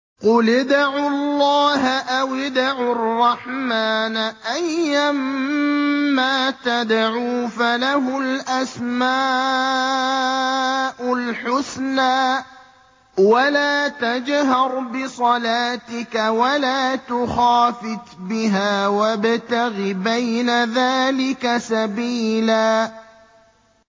قُلِ ادْعُوا اللَّهَ أَوِ ادْعُوا الرَّحْمَٰنَ ۖ أَيًّا مَّا تَدْعُوا فَلَهُ الْأَسْمَاءُ الْحُسْنَىٰ ۚ وَلَا تَجْهَرْ بِصَلَاتِكَ وَلَا تُخَافِتْ بِهَا وَابْتَغِ بَيْنَ ذَٰلِكَ سَبِيلًا